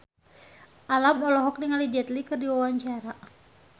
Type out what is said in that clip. Alam olohok ningali Jet Li keur diwawancara